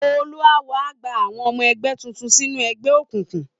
Olúawo á gba àwọn ọmọ ẹgbẹ́ tuntun sínú ẹgbẹ́ òkùnkùn